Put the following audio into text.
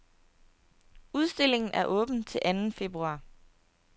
Udstillingen er åben til anden februar.